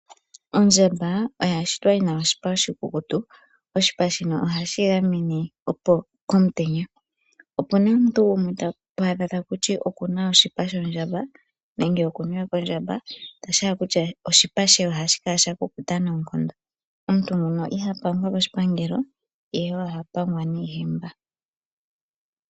Ondjamba oya shitwa yi na oshipa oshikukutu. Oshipa shino ohashi yi gamene komutenya. Opu na omuntu gumwe to adha ta ku ti oku na oshipa shondjamba nenge oku niwe kondjamba, tashi hala okutya oshipa she ohashi kala sha kukuta noonkondo. Omuntu nguno iha pangwa koshipangelo ihe oha pangwa niihemba.